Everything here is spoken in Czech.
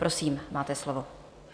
Prosím, máte slovo.